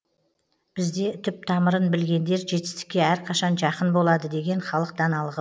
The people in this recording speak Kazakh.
бізде түп тамырын білгендер жетістікке әрқашан жақын болады деген халық даналығы